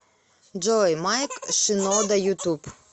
джой майк шинода ютуб